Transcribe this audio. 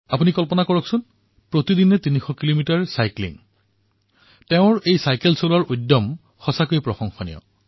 আপুনি কল্পনা কৰিব পাৰে প্ৰতিদিনে ৩০০ কিলোমিটাৰৰ চাইক্লিং চাইকেল চলোৱাৰ তেওঁৰ এই উৎসাহ সঁচাকৈয়ে প্ৰশংসনীয়